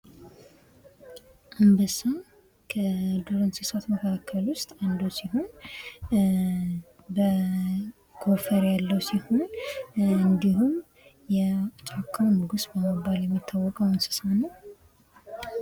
አንበሳ ከዱር እንስሳት መካከል ውስጥ አንዱ ሲሆን ጎፈሬ ያለው ሲሆን እንዲሁም የጫካው ንጉስ በመባል የሚታወቀው እንስሳ ነው።